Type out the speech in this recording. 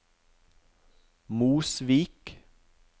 Mosvik